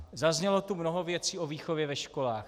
Zaznělo tu mnoho věcí o výchově ve školách.